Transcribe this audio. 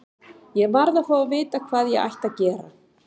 Ég varð að fá að vita hvað ég ætti að gera.